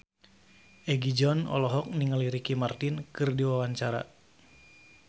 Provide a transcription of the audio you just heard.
Egi John olohok ningali Ricky Martin keur diwawancara